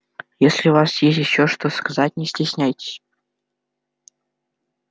если у вас ещё есть что сказать не стесняйтесь